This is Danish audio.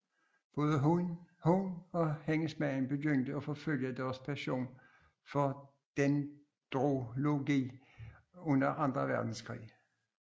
Både hun og hendes mand begyndte at forfølge deres passion for dendrology under Anden Verdenskrig